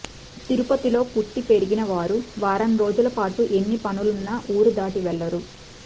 తిరుపతిలో పుట్టి పెరిగిన వారు వారం రోజుల పాటు ఎన్ని పనులున్నా ఊరు దాటి వెళ్ళరు